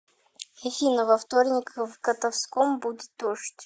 афина во вторник в котовском будет дождь